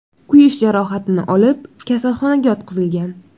kuyish jarohatini olib, kasalxonaga yotqizilgan.